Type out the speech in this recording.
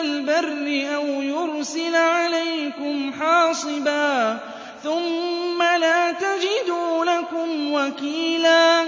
الْبَرِّ أَوْ يُرْسِلَ عَلَيْكُمْ حَاصِبًا ثُمَّ لَا تَجِدُوا لَكُمْ وَكِيلًا